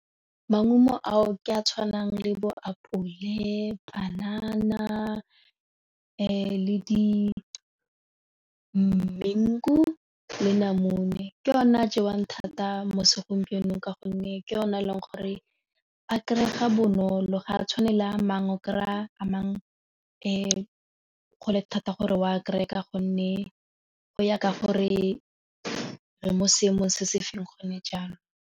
Maungo ao ke a tshwanang le boapole, panana le di-mango le namune ke yona a jewang thata mo segompienong ka gonne ke yone e leng gore a kry-ega bonolo ga a tshwane le a mangwe o kry-a mang gole thata gore wa kry-e Ka gonne go ya ka gore re mo seemong se se feng gone jaanong.